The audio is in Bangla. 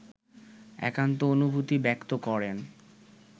একান্ত অনুভূতি ব্যক্ত করেন